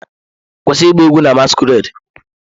Kwụsị ịgba egwu na masquerade!